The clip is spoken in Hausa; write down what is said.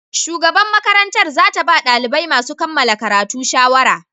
Shugaban makarantar za ta ba dalibai masu kammala karatu shawara.